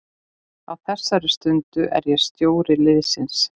Á þessari stundu er ég stjóri liðsins.